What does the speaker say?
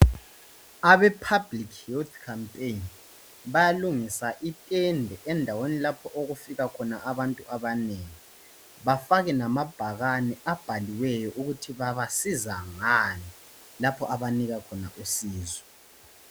Abe Public Youth Campaign bayalungisa itende endaweni lapho okufika khona abantu abanengi bafake namabhakane abhaliweyo ukuthi babasiza ngani lapho abanika khona usizo